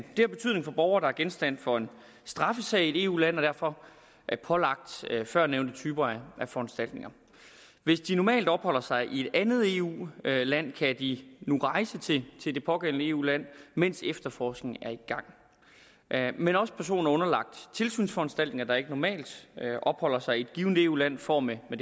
det har betydning for borgere der er genstand for en straffesag i et eu land og derfor er pålagt førnævnte typer af foranstaltninger hvis de normalt opholder sig i et andet eu land kan de nu rejse til det pågældende eu land mens efterforskningen er i gang men også personer underlagt tilsynsforanstaltninger ikke normalt opholder sig i et givet eu land får med det